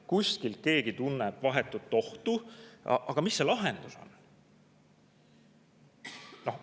Kuskil keegi tunneb vahetut ohtu, aga mis see lahendus on?